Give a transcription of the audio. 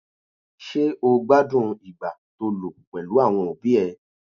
Ṣé́ o gbádùn ìgbà to lò pèlú àwọn òbí ẹ?